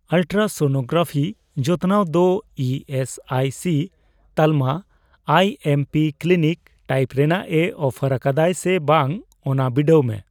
Ultrasonography ᱡᱚᱛᱚᱱᱟᱣ ᱫᱚ E S I C ᱛᱟᱞᱢᱟ I M P clinic type ᱨᱮᱱᱟᱜ ᱮ ᱚᱯᱷᱟᱨ ᱟᱠᱟᱫᱟᱭ ᱥᱮ ᱵᱟᱝ ᱚᱱᱟ ᱵᱤᱰᱟᱹᱣ ᱢᱮ ᱾